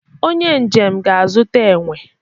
onye njem ga-azụta enwe